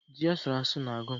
Ji asụrụ asụ na-agụ m